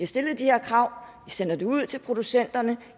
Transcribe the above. stillet de her krav sender det ud til producenterne